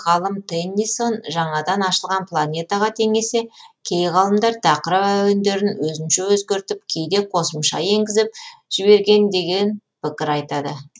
ғалым теннисон жаңадан ашылған планетаға теңесе кей ғалымдар тақырып әуендерін өзінше өзгертіп кейде қосымша енгізіп жіберген деген пікір айтады